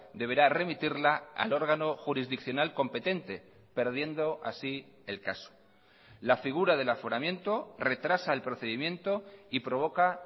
deberá remitirla al órgano jurisdiccional competente perdiendo así el caso la figura del aforamiento retrasa el procedimiento y provoca